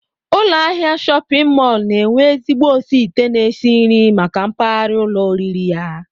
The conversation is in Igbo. Ụlọahịa shọpịn mọl na-enwe ezigbo osiite na-esi nri maka mpaghara ụlọoriri ya